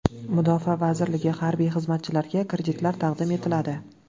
Mudofaa vazirligi harbiy xizmatchilariga kreditlar taqdim etiladi .